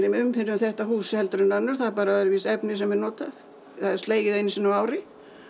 umhirða um þetta hús heldur en önnur það er bara öðruvísi efni sem er notað það er slegið einu sinni á ári